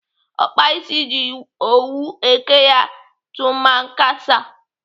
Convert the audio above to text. Ọkpa ịsị ji owu eke ya tumankasa.